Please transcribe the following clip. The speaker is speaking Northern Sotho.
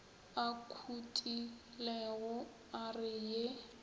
a khutilego a re ye